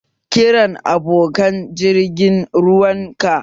Kiran abokan jirgin ruwan ka!